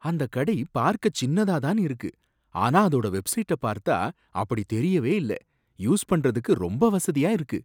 அந்த கடை பார்க்க சின்னதா தான் இருக்கு, ஆனா அதோட வெப்சைட்ட பார்த்தா அப்படி தெரியவே இல்ல, யூஸ் பண்றதுக்கு ரொம்ப வசதியா இருக்கு.